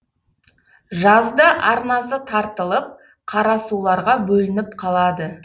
жазда арнасы тартылып қарасуларға бөлініп қалады